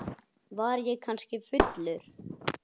Var ég kannski fullur?